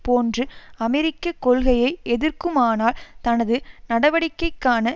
போன்று அமெரிக்க கொள்கையை எதிர்க்குமானால் தனது நடவடிக்கைக்கான